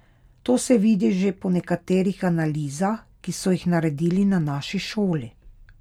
To se vidi že po nekaterih analizah, ki so jih naredili na naši šoli.